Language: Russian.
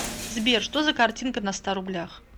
сбер что за картинка на ста рублях